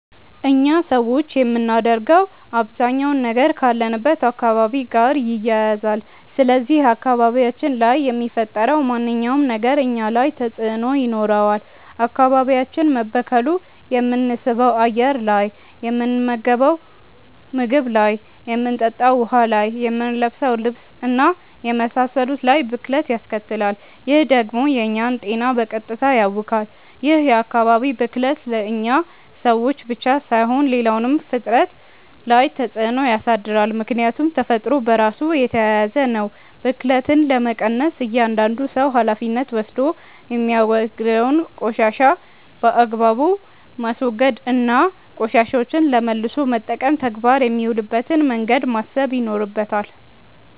እኛ ሰዎች የምናደርገው አባዛኛው ነገር ካለንበት አካባቢ ጋር ይያያዛል። ስለዚህ አካባቢያችን ላይ የሚፈጠረው ማንኛውም ነገር እኛ ላይ ተጽእኖ ይኖረዋል። አካባቢያችን መበከሉ የምንስበው አየር ላይ፣ የምንመገንው ምግብ ላይ፣ የምንጠጣው ውሀ ላይ፣ የምንለብሰው ልብስ እና የመሳሰሉት ላይ ብክለት ያስከትላል። ይህ ደግሞ የእኛን ጤና በቀጥታ ያውካል። ይህ የአካባቢ ብክለት እኛ ሰዎች ላይ ብቻ ሳይሆን ሌላውም ፍጥረት ላይ ተፅእኖ ያሳድራል። ምክያቱም ተፈጥሮ በራሱ የተያያዘ ነው። ብክለትን ለመቀነስ እያዳንዱ ሰው ሀላፊነት ወስዶ የሚያወግደውን ቆሻሻ በአግባቡ ማስወገድ እና ቆሻሻዎችን ለመልሶ መጠቀም ተግባር የሚውልበትን መንገድ ማሰብ ይኖርበታል።